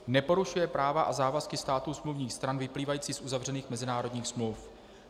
Neporušuje práva a závazky států smluvních stran vyplývající z uzavřených mezinárodních smluv.